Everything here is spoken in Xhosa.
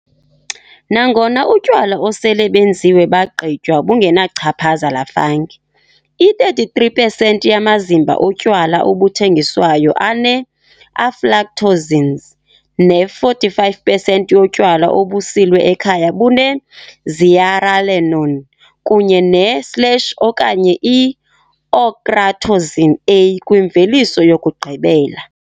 Nangona utywala osele benziwe bagqitywa bungenachaphaza la fungi, i- 33pesenti yamazimba otywala obuthengiswayo ane-aflatoxins ne-45 pesenti yotywala obusilwe ekhaya bune-zearalenone kunye ne-slash okanye i-ochratoxin A kwimveliso yokugqibela.